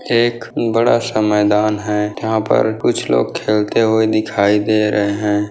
एक बड़ा-सा मैदान है यहा पर कुछ लोग खेलते हुए दिखाई दे रहे है।